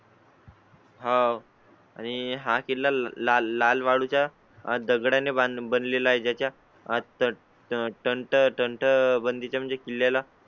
हां आणि हा किल्ला लाल वाळू च्या दगडा ने बनले ला आहे. त्याच्या आता टर्न बंदी म्हणजे किल्ला